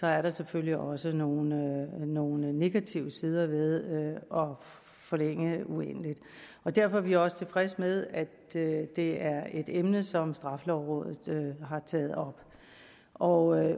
er der selvfølgelig også nogle nogle negative sider ved at forlænge uendeligt derfor er vi også tilfredse med at det det er et emne som straffelovrådet har taget op og